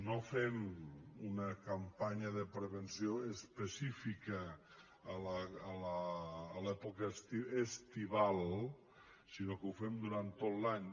no fem una campanya de prevenció específica a l’època estival sinó que ho fem durant tot l’any